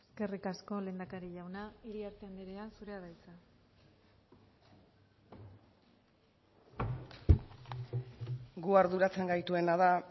eskerrik asko lehendakari jauna iriarte andrea zurea da hitza gu arduratzen gaituena da